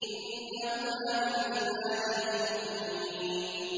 إِنَّهُمَا مِنْ عِبَادِنَا الْمُؤْمِنِينَ